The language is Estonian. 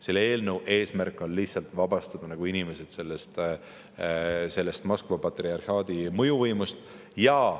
Selle eelnõu eesmärk on vabastada inimesed Moskva patriarhaadi mõjuvõimust.